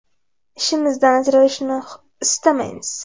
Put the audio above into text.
Ishimizdan ajralishni istamaymiz.